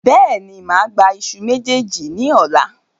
Bẹ́ẹ̀ni, máa gba ìṣù mejeeji ni ọ̀la.